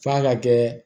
F'a ka kɛ